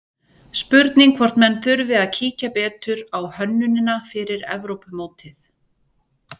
Spurning hvort menn þurfi að kíkja betur á hönnunina fyrir Evrópumótið?